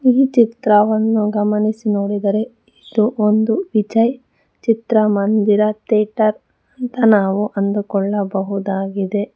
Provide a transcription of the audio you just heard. ಈ ಚಿತ್ರವನ್ನು ಗಮನಿಸಿ ನೋಡಿದರೆ ಇದು ಒಂದು ವಿಜಯ್ ಚಿತ್ರಮಂದಿರ ಥೇಟರ್ ಅಂತ ನಾವು ಅಂದುಕೊಳಬಹುದಾಗಿದೆ.